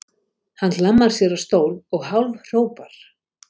Hann hlammar sér á stól og hálfhrópar